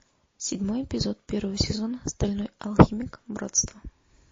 седьмой эпизод первого сезона стальной алхимик братство